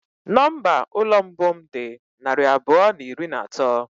Nọmba ụlọ mbụ m dị narị abụọ na iri na atọ.